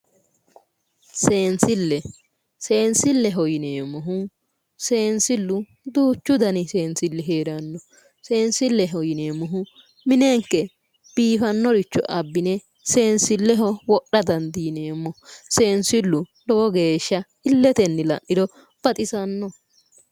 Seensille seensilleho yineemmohu seensillu duuchu dani seensilli heeranno seensilleho yineemmohu minenke biifannoricho abbine wodha dandiineemmo seensillu lowo geeshsha illetenni la'niro baxisannoho